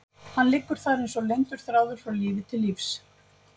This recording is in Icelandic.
Hann liggur þar eins og leyndur þráður frá lífi til lífs.